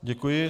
Děkuji.